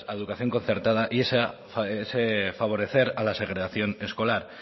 educación concertada y ese favorecer a la segregación escolar